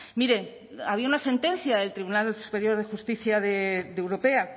mire había una sentencia del tribunal superior de justicia europea